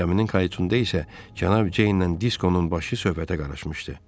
Kaminin qayıtçında isə cənab Ceyn ilə Diskonun başı söhbətə qarışmışdı.